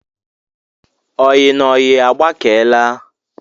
Oyi na oyi agbakeela